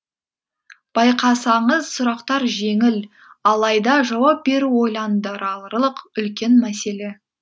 байқасаңыз сұрақтар жеңіл алайда жауап беру ойландырарлық үлкен мәселе